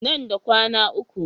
Nan da kwana uku.